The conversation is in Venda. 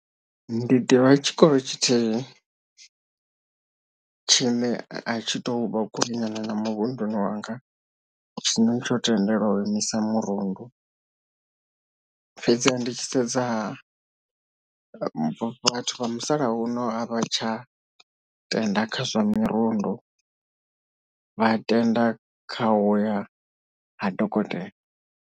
Ndi ḓivha tshikolo tshithihi tshine a tshi to vha kulinyana na muvhunduni wanga tshine tsho tendelwa u imisa mirundu fhedziha ndi tshi sedza ha vhathu vha musalauno a vha tsha tenda khazwa mirundu vha tenda kha uya ha dokotela.